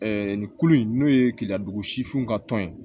nin ko in n'o ye keleya dugu sifinw ka tɔn ye